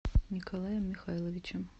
николаем михайловичем